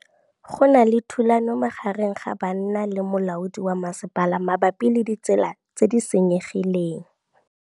Go na le thulanô magareng ga banna le molaodi wa masepala mabapi le ditsela tse di senyegileng.